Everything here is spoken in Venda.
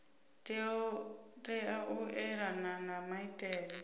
tea u elana na maitele